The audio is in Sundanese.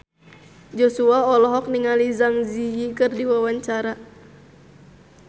Joshua olohok ningali Zang Zi Yi keur diwawancara